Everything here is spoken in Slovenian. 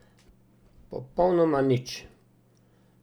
Popolnoma nič!